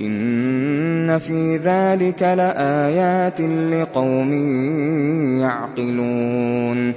إِنَّ فِي ذَٰلِكَ لَآيَاتٍ لِّقَوْمٍ يَعْقِلُونَ